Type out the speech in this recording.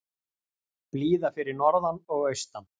Blíða fyrir norðan og austan